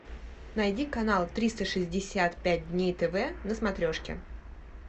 найди канал триста шестьдесят пять дней тв на смотрешке